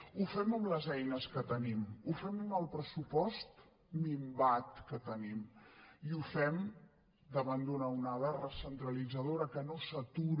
ho fem amb les eines que tenim ho fem amb el pressupost minvat que tenim i ho fem davant d’una onada recentralitzadora que no s’atura